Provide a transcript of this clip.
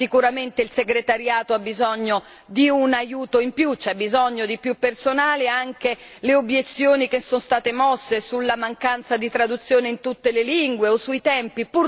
Sicuramente il segretariato ha bisogno di un aiuto in più, c'è bisogno di più personale, anche le obiezioni che sono state mosse sulla mancanza di traduzione in tutte le lingue o sui tempi